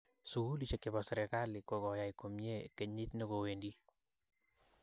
Sugulishek chepo sirkali kokoyai komyee kenyit negowendii